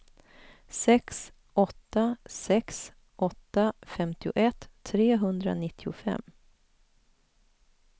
sex åtta sex åtta femtioett trehundranittiofem